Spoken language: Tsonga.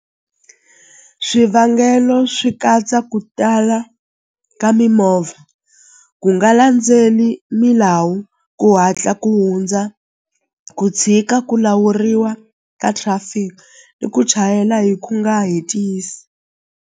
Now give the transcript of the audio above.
Swivangelo swi katsa ku tala ka mimovha ku nga landzeni milawu ku hatla ku hundza ku tshika ku lawuriwa ka traffic ni ku chayela hi ku nga hetisi.